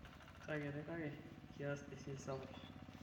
kakiti kake kias esiai sapuk